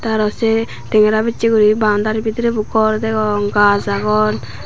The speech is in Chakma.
aro sey tengera bechi guri boundary bidirey bu gor degong gaaj agon.